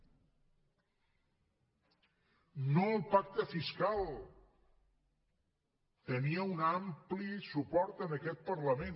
no al pacte fiscal tenia un ampli suport en aquest parlament